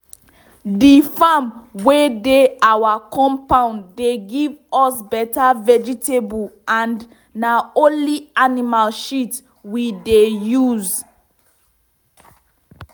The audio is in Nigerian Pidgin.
the farm wey dey our compound dey give us better vegetable and na only animal shit we dey use.